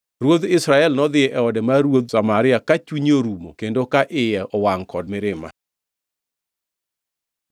Ruodh Israel nodhi e ode mar ruoth Samaria ka chunye orumo kendo ka iye owangʼ kod mirima.